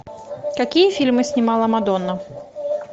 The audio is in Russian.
какие фильмы снимала мадонна